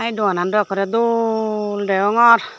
ey doanan dw ekkorey dol deongor.